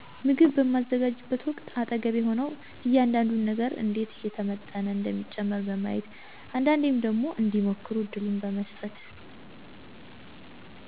ምግብ በማዘጋጅበት ወቅት አጠገቤ ሆነው እያንዳዱን ነገር እንዴት እየተመጠነ እንደሚጨመር በማሳየት አንዳንዴም ደግሞ እንዲሞክሩ እድሉን በመሥጠት